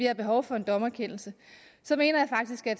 har behov for en dommerkendelse så mener jeg faktisk at